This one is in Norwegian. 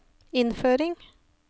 innføring